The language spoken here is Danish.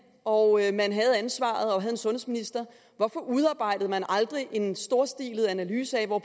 og man havde ansvaret og havde en sundhedsminister hvorfor udarbejdede man aldrig en storstilet analyse af hvor